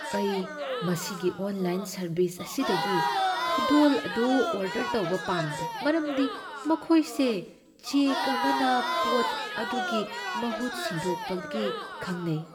ꯑꯩ ꯃꯁꯤꯒꯤ online service ꯑꯁꯤꯗꯒꯤ ꯈꯨꯗꯣꯜ ꯑꯗꯨ ꯑꯣꯔꯗꯔ ꯇꯧꯕ ꯄꯥꯝꯗꯦ ꯃꯔꯝꯗꯤ ꯃꯈꯣꯏ ꯁꯦ ꯆꯦꯛ ꯑꯃꯅꯄꯣꯠ ꯑꯗꯨꯒꯤ ꯃꯍꯨꯠ ꯁꯤꯟꯗꯣꯛꯄꯒꯤ ꯈꯪꯅꯩ꯫